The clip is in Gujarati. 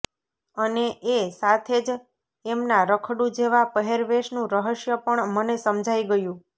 અને એ સાથે જ એમના રખડું જેવા પહેરવેશનું રહસ્ય પણ મને સમજાઈ ગયું